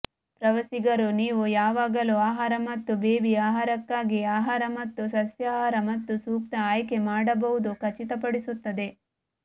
ಪ್ರವಾಸಿಗರು ನೀವು ಯಾವಾಗಲೂ ಆಹಾರ ಮತ್ತು ಬೇಬಿ ಆಹಾರಕ್ಕಾಗಿ ಆಹಾರ ಮತ್ತು ಸಸ್ಯಾಹಾರ ಮತ್ತು ಸೂಕ್ತ ಆಯ್ಕೆ ಮಾಡಬಹುದು ಖಚಿತಪಡಿಸುತ್ತದೆ